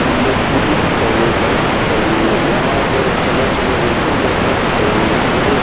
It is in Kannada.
ಇಲ್ಲಿ ಸ್ಕೂಟಿ ಸಿಕ್ತವು ಬೈಕ್ ಸಿಕ್ತವು ಯಾಹ್ಮಃ ರೇಸಿಂಗ್ ಬೈಕು ಸಿಕ್ತವು. ಇದು--